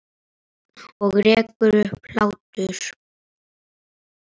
Og rekur upp hlátur.